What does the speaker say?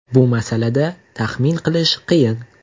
Bu masalada taxmin qilish qiyin.